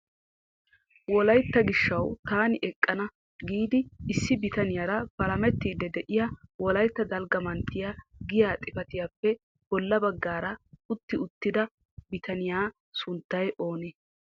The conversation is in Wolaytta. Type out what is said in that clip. Wolaytta gishshaw taani eqqana giidi issi bitaniyaara palametiidi de'iya Wolaytta dalgga manttiya giyaa xifatiyappe bolla baggaara utti uttida bitaniya sunttay oonee?